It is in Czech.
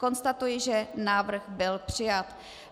Konstatuji, že návrh byl přijat.